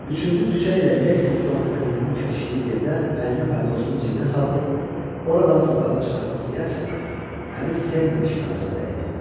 Üçüncü küçə ilə Lexington Avenuenun kəsişdiyi yerdə əlini paltosunun cibinə salıb, oradan pul qabını çıxartmaq istəyərkən, əli sendviç parasına dəydi.